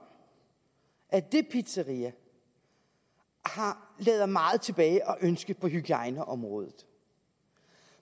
at det pizzeria lader meget tilbage at ønske på hygiejneområdet